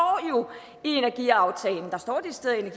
jo i energiaftalen der står decideret